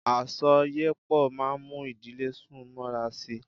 Àsọyépọ̀ máa mú ìdílé sún mọ́ra sí.